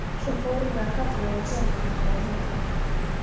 Svo fórum við að kalla þau Hjónin okkar á milli.